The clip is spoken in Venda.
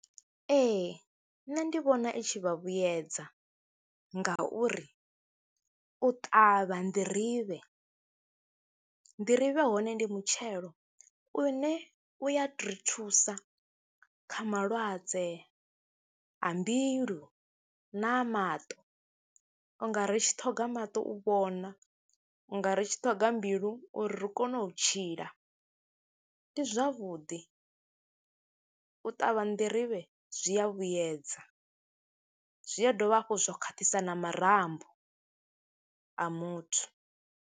Ee, nṋe ndi vhona i tshi vha vhuyedza ngauri u ṱavha nḓirivhe, nḓirivhe hone ndi mutshelo une u ya ri thusa kha malwadze a mbilu na maṱo, u nga ri tshi ṱhoga maṱo u vhona, u nga ri tshi ṱhoga mbilu uri ri kone u tshila. Ndi zwavhuḓi, u ṱavha nḓirivhe zwi a vhuyedza, zwi a dovha hafhu zwa khwaṱhisa na marambo a muthu.